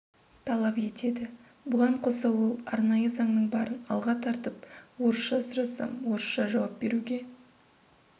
талап етеді бұған қоса ол арнайы заңның барын алға тартып орысша сұрасам орысша жауап беруге